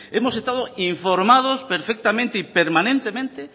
hemos estado informados perfectamente y permanentemente